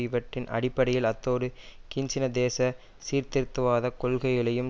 இவற்றின் அடிப்படையில் அத்தோடு கீன்சின தேச சீர்திருத்தவாத கொள்கைகளையும்